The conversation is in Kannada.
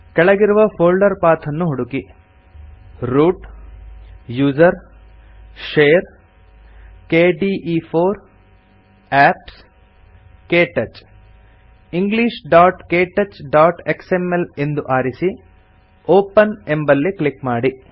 ಕೆಳಗಿರುವ ಫೋಲ್ಡರ್ ಪಾಥ್ ಅನ್ನು ಹುಡುಕಿ root usr share kde4 apps ಕ್ಟಚ್ englishktouchಎಕ್ಸ್ಎಂಎಲ್ ಎಂದು ಆರಿಸಿ ಒಪೆನ್ ಎಂಬಲ್ಲಿ ಕ್ಲಿಕ್ ಮಾಡಿ